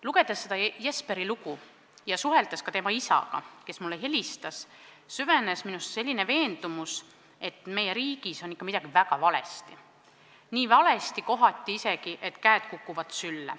Lugedes seda Jesperi lugu ja suheldes ka tema isaga, kes mulle helistas, süvenes minus veendumus, et meie riigis on ikka midagi väga valesti, kohati isegi nii valesti, et käed kukuvad sülle.